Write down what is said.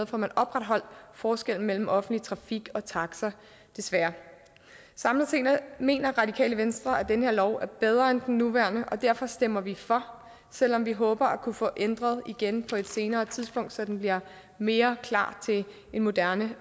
får man opretholdt forskellen mellem offentlig trafik og taxa desværre samlet set mener radikale venstre at den her lov er bedre end den nuværende og derfor stemmer vi for selv om vi håber at kunne få ændret den igen på et senere tidspunkt så den bliver mere klar til en moderne